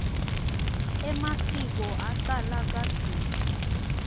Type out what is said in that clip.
emasiko acala kadzeni